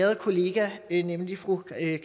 æret kollega nemlig fru